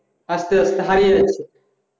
আস্তে আস্তে হারিয়ে যাচ্ছে